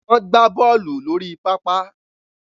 Wọ́n gbá bọ́ọ̀lù lórí pápá